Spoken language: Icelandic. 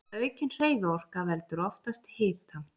Aukin hreyfiorka veldur oftast hita.